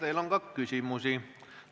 Teile on ka küsimusi.